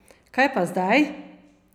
Kaj pa zdaj?